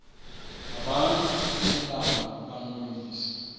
abantu bomlambo bambonisa